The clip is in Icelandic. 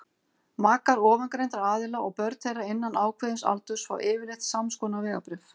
makar ofangreindra aðila og börn þeirra innan ákveðins aldurs fá yfirleitt samskonar vegabréf